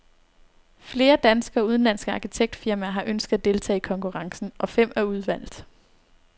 Flere danske og udenlandske arkitektfirmaer har ønsket at deltage i konkurrencen, og fem er udvalgt.